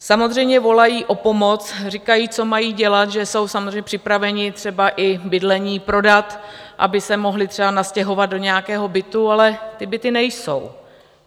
Samozřejmě volají o pomoc, říkají, co mají dělat, že jsou samozřejmě připraveni třeba i bydlení prodat, aby se mohli třeba nastěhovat do nějakého bytu, ale ty byty nejsou.